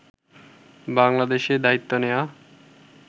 বাংলাদেশে দায়িত্ব নেয়া